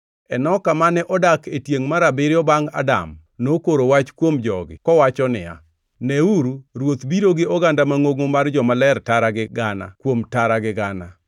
Enoka, mane odak e tiengʼ mar abiriyo bangʼ Adam, nokoro wach kuom jogi kowacho niya, “Neuru Ruoth biro gi oganda mangʼongo mar jomaler tara gi gana kuom tara gi gana